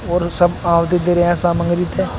और सब आहुति दे रहे हैं सामग्री के।